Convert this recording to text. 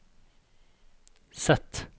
Z